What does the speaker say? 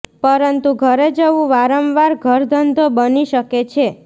પરંતુ ઘરે જવું વારંવાર વારંવાર ઘરધંધો બની શકે છે